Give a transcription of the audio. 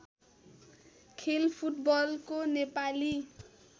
खेल फुटबलको नेपाली